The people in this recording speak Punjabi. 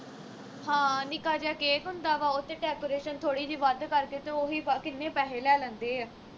ਹਾਂ ਨਿੱਕਾ ਜਾ cake ਹੁੰਦਾ ਵਾ ਉਹ ਤੇ decoration ਥੋੜੀ ਜੀ ਵੱਧ ਕਰਕੇ ਤੇ ਉਹ ਹੀ ਕਿੰਨੇ ਪੈਹੇ ਲੈ ਲੈਂਦੇ ਆ